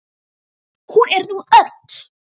Nú er hún öll.